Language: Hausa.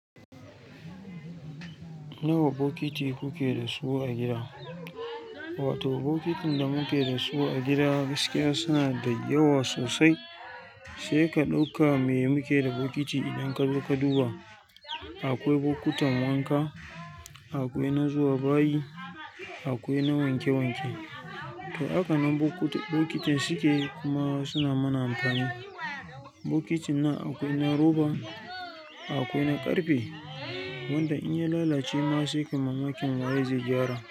Nawa bokiti kuke da su a gida? Wato bokitin da muke da su a gida gaskiya suna dayawa sosai. Sai ka ɗauka me muke da bokiti idan ka zo ka duba. Akwai bokutsn wanka, akwai na zuwa bayi, akwai na wanke wanke. To haka nan bokitin suke kuma suna mana amfani. Bokitin nan akwai na roba, akwai na ƙarfe, wanda in ya lalace ma sai kai mamakin waye zai gyara.